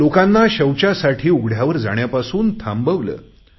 लोकांना शौचासाठी उघड्यावर जाण्यापासून थांबवले